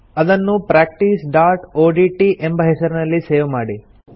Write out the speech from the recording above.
ಅದನ್ನು practiceಒಡಿಟಿ ಎಂಬ ಹೆಸರಿನಲ್ಲಿ ಸೇವ್ ಮಾಡಿ